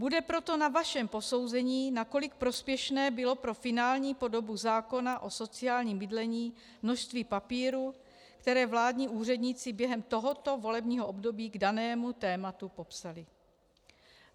Bude proto na vašem posouzení, nakolik prospěšné bylo pro finální podobu zákona o sociálním bydlení množství papíru, které vládní úředníci během tohoto volebního období k danému tématu popsali.